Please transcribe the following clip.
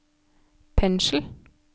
pensel